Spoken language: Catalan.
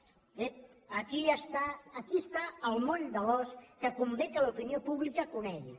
ep aquí està aquí està el moll de l’os que convé que l’opinió pública conegui